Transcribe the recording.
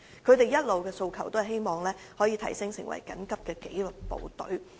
他們一直以來的訴求，是希望可以提升為緊急紀律部隊。